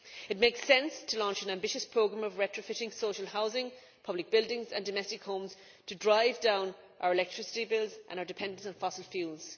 It makes sense to launch an ambitious programme of retrofitting social housing, public buildings and domestic homes to drive down our electricity bills and our dependence on fossil fuels.